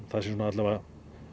það sé svona alla vega